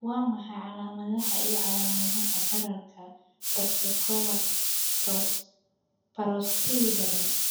Waa maxay calaamadaha iyo calaamadaha bararka osteochondromatous parosteal badan?